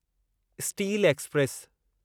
steel express